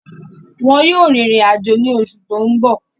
Wọn yóò rìnrìn àjò ní oṣù tó ń bọ̀